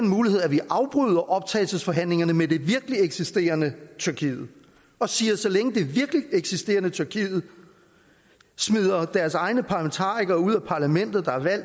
mulighed at vi afbryder optagelsesforhandlingerne med det virkeligt eksisterende tyrkiet og siger at så længe det virkeligt eksisterende tyrkiet smider deres egne folkevalgte parlamentarikere ud af parlamentet